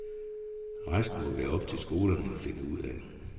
Resten må være op til skolerne at finde ud af.